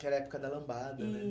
Que era a época da lambada, né?